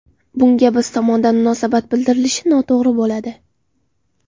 Bunga biz tomondan munosabat bildirilishi noto‘g‘ri bo‘ladi.